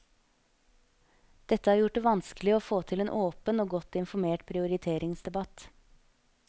Dette har gjort det vanskelig å få til en åpen og godt informert prioriteringsdebatt.